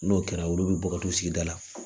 N'o kɛra olu bɛ bɔ ka to sigida la